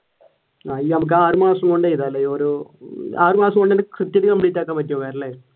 ആഹ് ആറു മാസം കൊണ്ട് എഴുതാമല്ലേ ഓരോ ആറു മാസം കൊണ്ട് കൃത്യാമായിട്ട് complete ആക്കുവാൻ